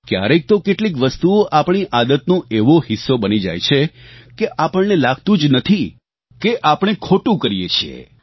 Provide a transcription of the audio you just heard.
ક્યારેક તો કેટલીક વસ્તુઓ આપણી આદતનો એવો હિસ્સો બની જાય છે કે આપણને લાગતું જ નથી કે આપણે ખોટું કરીએ છીએ